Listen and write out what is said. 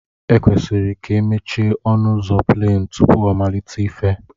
E kwesịrị k'emechie ọnu uzọ pleen tupu ọmalite ife.